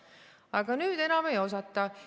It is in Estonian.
Aga nüüd enam ei osata.